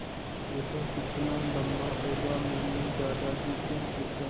यह कितना लम्बा होगा मैने दादाजी को पूछा